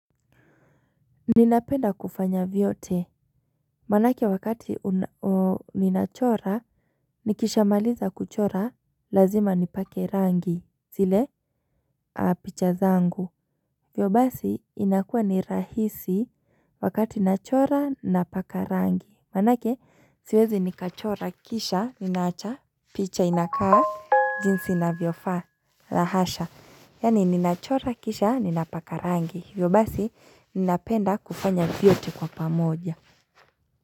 Ninapenda kufanya vyote, maanake wakati ninachora, nikishamaliza kuchora, lazima nipake rangi, zile picha zangu hivyo basi, inakuwa ni rahisi, wakati nachora, ninapaka rangi Maanake, siwezi nikachora, kisha, ninawacha, picha, inakaa, jinsi inavyofaa, la hasha yaani ninachora kisha ninapaka rangi, hivyo basi ninapenda kufanya vyote kwa pamoja.